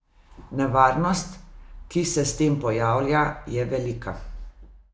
Nevarnost, ki se s tem pojavlja, je velika.